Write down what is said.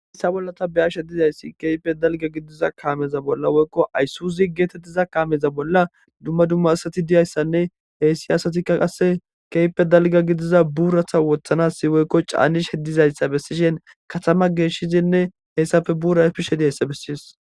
hayssa bolla ta beyashe dizayssi keehippe dalga gidiza kaameza bolla woykko ayssuuzi geetettiza kaameza bolla dumma dumma asati diyayssanne heyssi asatikka qasse keype dalga gidiza buurata wothanassi woykko caanish hedizayssa bessishin katama geeshshizinne heyssafe bura bishe diyayssa besses